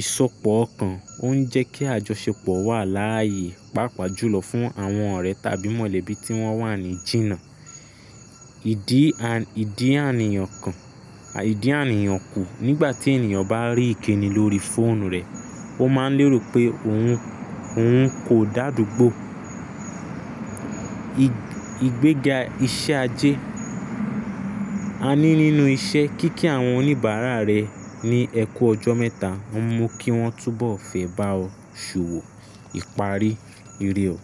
Ìsọpọ̀ okan ó ń jẹ́ kí àjọṣepọ̀ wà láàyè, pàápàá jùlọ fún àwọn ọ̀rẹ́ tàbí mọ̀lẹ́bí tí wọ́n wà ní jìnnà. Ìdí à, ìdí àníyàn kan, à ìdí àníyàn kù nígbà tí ènìyàn bá rí ìkíni lórí fóònù rẹ̀, ó máa ń lérò pé òun, òun kò dáàdúgbọ̀. Igbéga iṣẹ́ ajé. A ní nínú iṣẹ́, kíkí àwọn oníbàárà rẹ ní ẹ kú ọjọ́ mẹ́ta, ó mú kí wọ́n túbọ̀ fẹ́ bá ọ ṣowò, ìparí ire ọ.